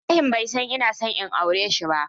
Ibrahim bai san ina son in auren shi ba.